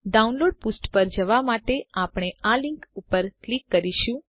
download પુષ્ઠ પર જવાં માટે આપણે આ લીંક પર ક્લિક કરીશું